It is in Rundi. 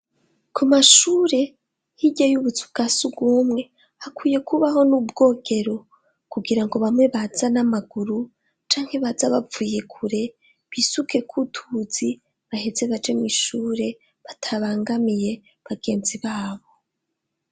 Ku mashure hirya yubuzu bwasugumwe hakwiye kubaho n'ubwogero kugira ngo bamwe baza n'amaguru canke baza bapfuye kure bisuke kutuzi bahetse baje mu ishure batabangamiye bagenzi babo.